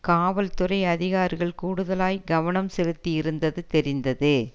காவல் துறை அதிகாரிகள் கூடுதலாய் கவனம் செலுத்தியிருந்தது தெரிந்தது